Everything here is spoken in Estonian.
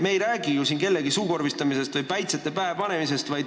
Me ei räägi ju siin kellegi suukorvistamisest või päitsete pähepanemisest.